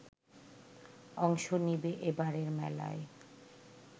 অংশ নেবে এবারের মেলায়